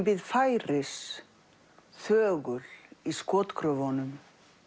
bíð færis þögul í skotgröfunum